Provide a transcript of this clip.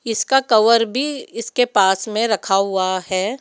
इसका कवर भी इसके पास में रखा हुआ है।